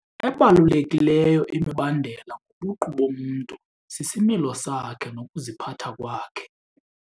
Ebalulekileyo imibandela ngobuqu bomntu sisimilo sakhe nokuziphatha kwakhe.